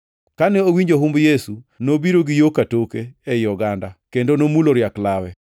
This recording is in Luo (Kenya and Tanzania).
Kane owinjo humb Yesu, nobiro gi yo katoke ei oganda kendo nomulo riak lawe,